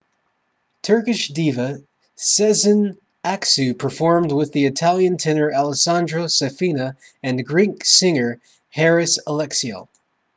turkish diva sezen aksu performed with the italian tenor alessandro safina and greek singer haris alexiou